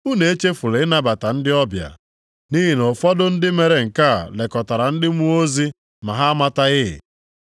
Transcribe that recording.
Unu echefula ịnabata ndị ọbịa, nʼihi na ụfọdụ ndị mere nke a lekọtara ndị mmụọ ozi ma ha amataghị.